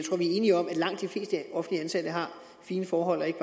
enige om at langt de fleste offentligt ansatte har fine forhold og ikke